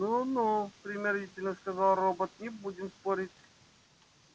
ну ну примирительно сказал робот не будем спорить